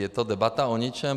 Je to debata o ničem.